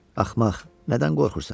Axmaq, nədən qorxursan?